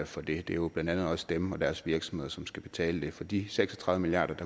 for det det er jo blandt andet også dem og deres virksomheder som skal betale det for de seks og tredive milliard